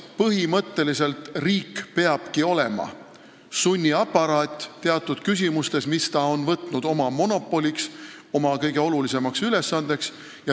Põhimõtteliselt riik peabki olema sunniaparaat teatud valdkondades, mis ta on võtnud oma monopoliks, oma kõige olulisemaks ülesandeks.